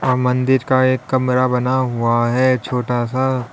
व मंदिर का एक कमरा बना हुआ है छोटा सा--